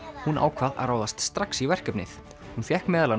hún ákvað að ráðast strax í verkefnið hún fékk meðal